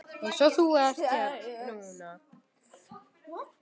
Eins og þú ert núna.